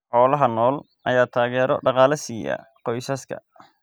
Xoolaha nool ayaa taageero dhaqaale siiya qoysaska.